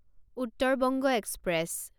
Uttar Banga express